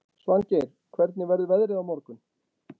Svangeir, hvernig verður veðrið á morgun?